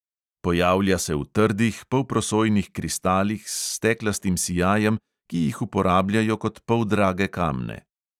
Pojavlja se v trdih, polprosojnih kristalih s steklastim sijajem, ki jih uporabljajo kot poldrage kamne.